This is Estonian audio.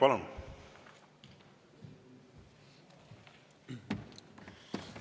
Palun!